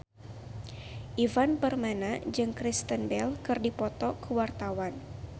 Ivan Permana jeung Kristen Bell keur dipoto ku wartawan